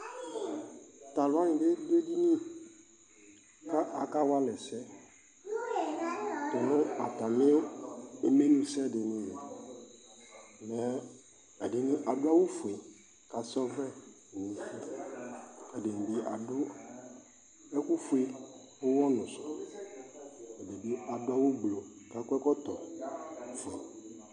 Tʋ alʋ wanɩ bɩ dʋ edini kʋ akawa alɛ ɛsɛ tʋ nʋ atamɩ imenusɛ dɩnɩ li Mɛ ɛdɩnɩ adʋ awʋfue kʋ asa ɔvlɛ nʋ ʋlɩ Ɛdɩnɩ bɩ adʋ ɛkʋfue ʋɣɔnʋ sʋ Ɛdɩ bɩ adʋ awʋ gblu kʋ akɔ ɛkɔtɔfue